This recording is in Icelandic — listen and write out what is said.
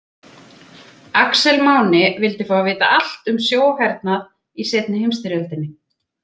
Axel Máni vildi fá að vita allt um sjóhernað í seinni heimsstyrjöldinni.